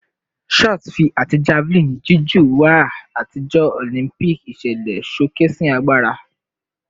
Shot fi ati javelin jiju wà atijọ Olympic iṣẹlẹ, showcasing agbara